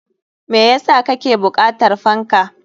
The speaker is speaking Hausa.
Me yasa kake bukatar fanka?